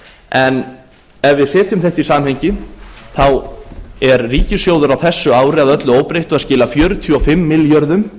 en ef við setjum þetta í samhengi þá er ríkissjóður á þessu ári að öllu óbreyttu að skila fjörutíu og fimm milljörðum